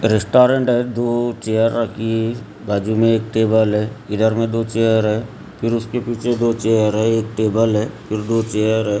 Restaurant है दो chair रखी बाजू में एक टेबल है इधर में दो चेयर है फिर उसके पीछे दो चेयर है एक टेबल है फिर दो चेयर है।